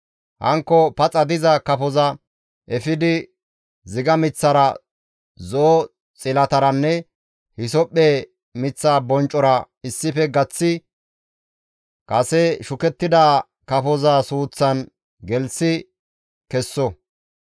Hankko paxa diza kafoza efidi ziga miththara, zo7o xilataranne hisophphe miththa bonccora issife gaththi kase shukettida kafoza suuththan gelththi kesso.